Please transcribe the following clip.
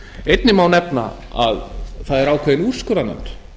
einnig má nefna að það er ákveðin úrskurðarnefnd